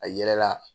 A yɛrɛ la